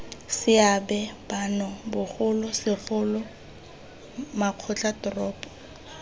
seabe bano bogolo segolo makgotlatoropo